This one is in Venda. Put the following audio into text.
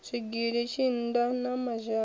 zwigili tshinda na mazhana o